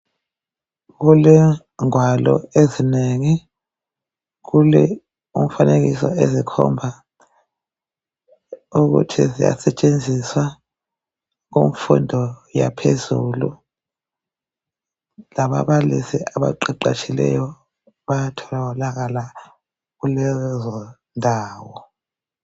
Kulengwalo ezinengi kulemifanekiso ekhomba ukuthi seziyasetshenziswa kumfundo yaphezulu lababalisi abaqeqeshiweyo bayatholakala kulezo ndawo .